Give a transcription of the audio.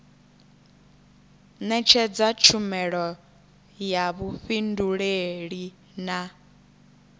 netshedza tshumelo ya vhufhinduleli na